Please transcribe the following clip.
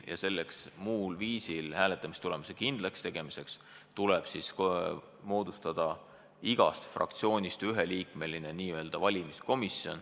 Hääletamistulemuse muul viisil kindlakstegemiseks tuleb moodustada hääletamiskomisjon, kuhu kuulub igast fraktsioonist üks liige.